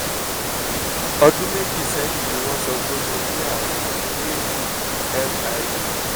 ọdún méjì sẹ́yìn ni wọ́n sọ pé mo ní àrùn a-fib